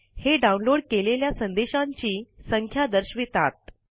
हे डाउनलोड केलेल्या संदेशांची संख्या दर्शवितात